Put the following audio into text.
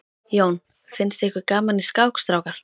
Jón: Finnst ykkur gaman í skák strákar?